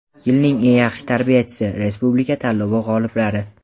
"Yilning eng yaxshi tarbiyachisi" respublika tanlovi g‘oliblari;.